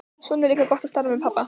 Svo er líka gott að starfa með pabba.